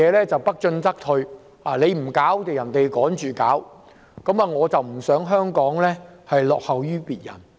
事情不進則退，你不做別人便趕着做，我不希望香港落後於人。